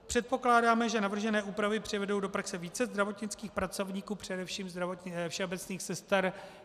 Předpokládáme, že navržené úpravy přivedou do praxe více zdravotnických pracovníků, především všeobecných sester.